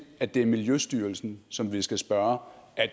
at det er miljøstyrelsen som vi skal spørge om